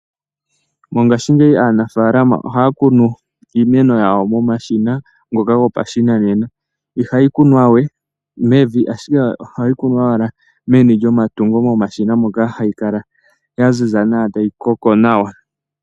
Mongashingeyi aanafaalama ohaya kunu iimeno yawo momashina ngoka gopashinanena. Ihayi kunwaa wee mevi ashike ohayi kunwaa owala meni lyomatungo hayi kala owala yaziza nawa tayi koko nawa.